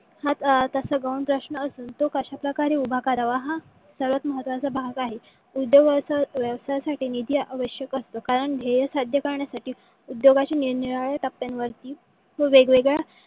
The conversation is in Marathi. हा तसा गौण प्रश्न असून. तो कश्याप्रकारे उभा करावा. हा सर्वात महत्वाचा भाग आहे. उद्योग व्यवसायासाठी निधी आवश्यक असतो. कारण ध्येय साध्य करण्यासाठी उद्योगशी निरनिराळ्या टप्प्यांवरती व वेगवेगळ्या